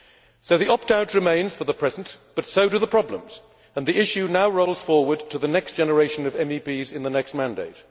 So the opt out remains for the present, but so do the problems, and the issue now rolls forward to the next generation of MEPs in the next mandate.